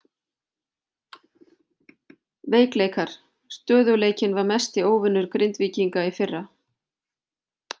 Veikleikar: Stöðugleikinn var mesti óvinur Grindvíkinga í fyrra.